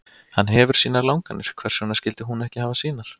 Hann hefur sínar langanir, hvers vegna skyldi hún ekki hafa sínar?